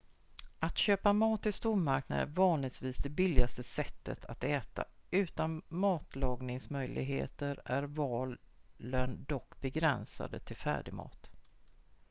att köpa mat i stormarknader är vanligtvis det billigaste sättet att äta utan matlagningsmöjligheter är valen dock begränsade till färdigmat